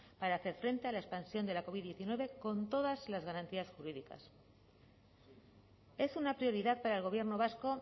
para hacer frente a la expansión de la covid diecinueve con todas las garantías jurídicas es una prioridad para el gobierno vasco